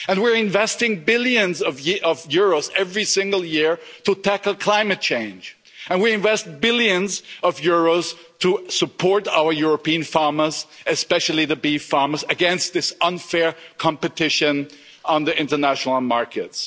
We're investing billions of euros every single year to tackle climate change and we invest billions of euros to support our European farmers, especially the beef farmers, against this unfair competition on the international markets.